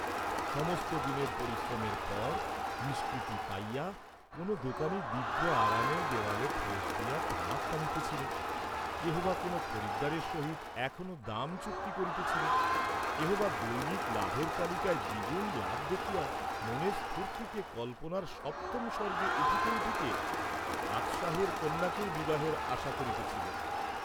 সমস্ত দিনের পরিশ্রমের পর নিষ্কৃতি পাইয়া কোন দোকানী দিব্য আরামে দেওয়াল ঠেস দিয়া তামাক টানিতেছিল, কেহ বা কোন খরিদ্দারের সহিত এখনো দাম চুক্তি করিতেছিল, কেহ বা দৈনিক লাভের তালিকায় দ্বিগুণ লাভ দেখিয়া মনের স্ফূর্ত্তিতে কল্পনার সপ্তম স্বর্গে উঠিতে উঠিতে বাদসাহের কন্যাকেও বিবাহের আশা করিতেছিল।